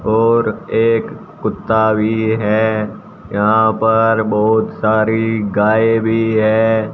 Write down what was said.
और एक कुत्ता भी है यहां पर बहुत सारी गायें भी है।